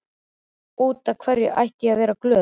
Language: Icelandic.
Út af hverju ætti ég að vera glöð?